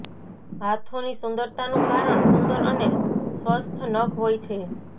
હાથોની સુંદરતાનું કારણ સુંદર અને સ્વસ્થ્ય નખ હોય છે